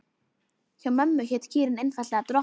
Hjá mömmu hét kýrin einfaldlega Drottning.